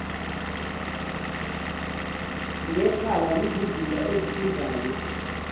ngekhala yizizinda ezisizayo